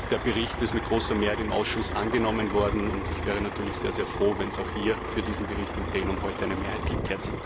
Der Bericht ist mit großer Mehrheit im Ausschuss angenommen worden, und ich wäre natürlich sehr froh, wenn es auch hier für diesen Bericht im Plenum heute eine Mehrheit gibt.